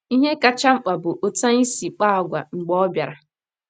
Ihe kacha mkpa bụ otú anyị si kpaa àgwà mgbe ọ bịara.